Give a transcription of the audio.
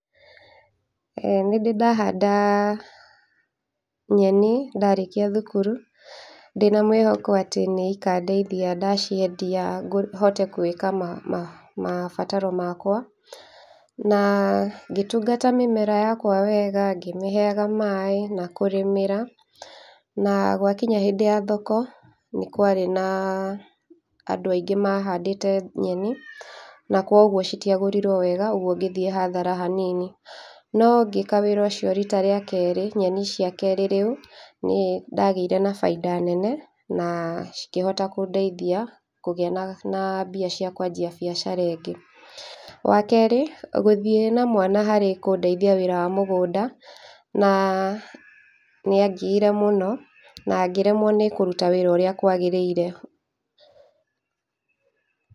Ĩĩ nĩndi ndahanda nyeni ndarĩkia thukuru ndĩna mwihoko atĩ nĩikandeithia ndaciendia ngũ hote gwĩka ma ma mabataro makwa, na ngĩtungata mĩmera yakwa wega, ngĩmĩheaga maĩ na kũrĩmĩra, na gwakinya hĩndĩ ya thoko nĩ kwa ĩrĩ na andũ aingĩ mahandĩte nyeni, na koguo citiagũrirwo wega ũgũo ngĩthiĩ hathara hanini. No ngĩka wĩra ũcio rita ria kerĩ nyeni cia kerĩ rĩũ nĩ ndagĩire na bainda nene, na cikĩhota kũndeithia kũgĩa na na mbia cia kwanjia biacara ĩngĩ. Wakerĩ, gũthĩi na mwana harĩ kũndeithia harĩ wĩra wa mũgũnda, na nĩangiire mũno na ngĩremwo nĩ kũruta wĩra ũrĩa kwagĩrĩire.